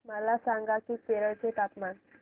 मला सांगा की केरळ चे तापमान